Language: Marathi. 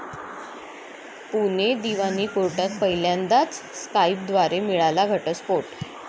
पुणे दिवाणी कोर्टात पहिल्यांदाच 'स्काईप'द्वारे मिळाला घटस्फोट